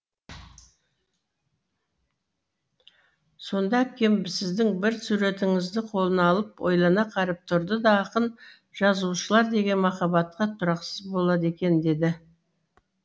сонда әпкем сіздің бір суретіңізді қолына алып ойлана қарап тұрды да ақын жазушылар деген махаббатқа тұрақсыз болады екен деді